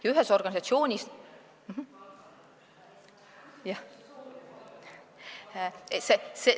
Ja ühes organisatsioonis ...